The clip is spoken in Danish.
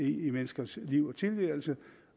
i menneskers liv og tilværelse